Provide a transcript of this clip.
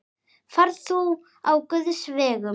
Far þú á Guðs vegum.